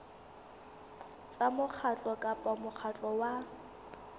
tsa mokgatlo kapa mokgatlo wa